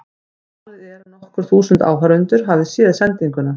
Talið er að nokkur þúsund áhorfendur hafi séð sendinguna.